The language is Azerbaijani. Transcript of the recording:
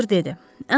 Doktor dedi.